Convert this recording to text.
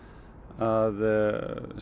að